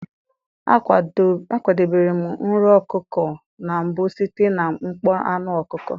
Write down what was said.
A kwadebere nro ọkụkọ na mbụ site na mkpọ anụ ọkụkọ.